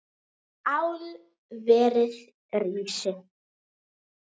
Álverið rísi!